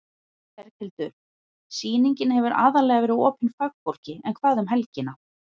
Berghildur: Sýningin hefur aðallega verið opin fagfólki en hvað um helgina?